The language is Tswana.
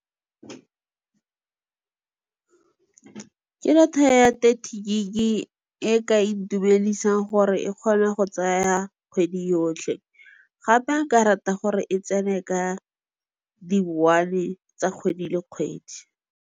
Ke data ya thirty gig e ka itumedisang gore e kgone go tsaya kgwedi yotlhe. Gape nka rata gore e tsene ka di-one tsa kgwedi le kgwedi.